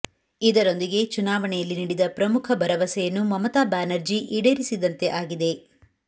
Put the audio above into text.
ಇದರೊಂದಿಗೆ ಚುನಾವಣೆಯಲ್ಲಿ ನೀಡಿದ ಪ್ರಮುಖ ಭರವಸೆಯನ್ನು ಮಮತಾ ಬ್ಯಾನರ್ಜಿ ಈಡೇರಿಸಿದಂತೆ ಆಗಿದೆ